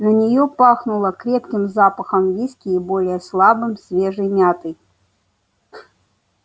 на неё пахнуло крепким запахом виски и более слабым свежей мяты